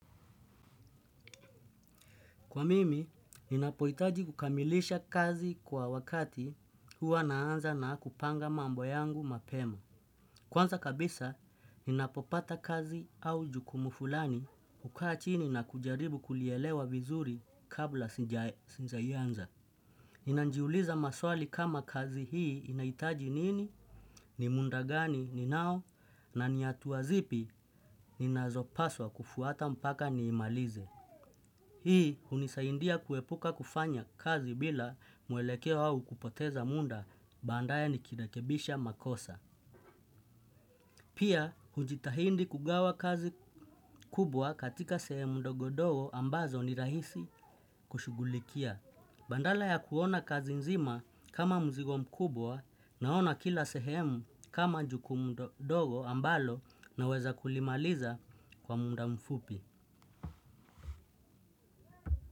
Kwa mimi, ninapoitaji kukamilisha kazi kwa wakati huwa naanza na kupanga mambo yangu mapema. Kwanza kabisa, ninapopata kazi au jukumu fulani ukaa chini na kujaribu kulielewa vizuri kabla sija ianza. Ninanjiuliza maswali kama kazi hii inaitaji nini, ni munda gani, ninao, na ni atua zipi, ninazopaswa kufuata mpaka ni imalize. Hii hunisaindia kuepuka kufanya kazi bila mwelekeo au kupoteza munda bandaya ni kirekebisha makosa. Pia hujitahindi kugawa kazi kubwa katika sehemu ndogodogo ambazo ni rahisi kushugulikia. Bandala ya kuona kazi nzima kama mzigo mkubwa naona kila sehemu kama jukumu dogo ambalo naweza kulimaliza kwa munda mfupi.